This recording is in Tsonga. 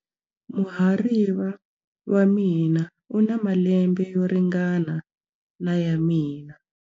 Muhariva wa mina u na malembe yo ringana na ya mina.